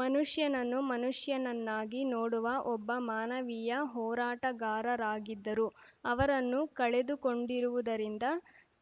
ಮನುಷ್ಯನನ್ನು ಮನುಷ್ಯನನ್ನಾಗಿ ನೋಡುವ ಒಬ್ಬ ಮಾನವೀಯ ಹೋರಾಟಗಾರರಾಗಿದ್ದರು ಅವರನ್ನು ಕಳೆದುಕೊಂಡಿರುವುದರಿಂದ